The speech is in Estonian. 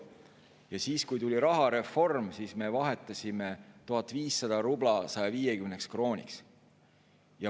Ja kui tuli rahareform, siis me vahetasime 1500 rubla 150 krooniks.